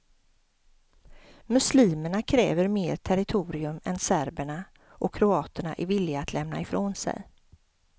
Muslimerna kräver mer territorium än serberna och kroaterna är villiga att lämna ifrån sig.